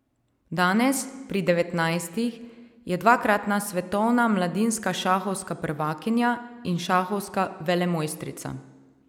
Danes, pri devetnajstih, je dvakratna svetovna mladinska šahovska prvakinja in šahovska velemojstrica.